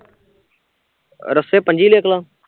ਰੱਸੇ ਪੰਜੀ ਲਿਖਲਾ